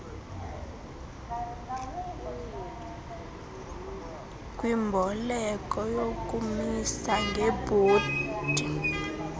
kwimboleko yokumisa ngebhondi